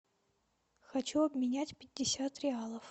хочу обменять пятьдесят реалов